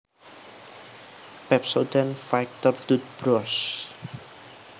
Pepsodent Fighter Tootbrush